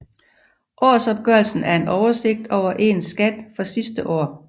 Årsopgørelsen er en oversigt over ens skat for sidste år